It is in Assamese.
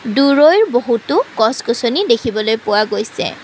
দূৰৈৰ বহুতো গছ-গছনি দেখিবলৈ পোৱা গৈছে।